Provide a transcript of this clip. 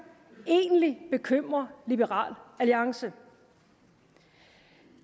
egentlig bekymrer liberal alliance